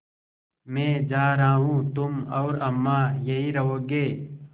मैं जा रहा हूँ तुम और अम्मा यहीं रहोगे